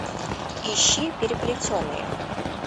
ищи переплетенные